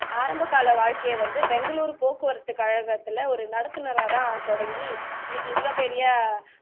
ஆரம்ப கால வாழ்க்கையை வந்து பெங்களூர் போக்குவரத்துகழத்துல ஒரு நடத்துனரா தான் தொடங்கி இன்னைக்கு இவ்ளோ பெரிய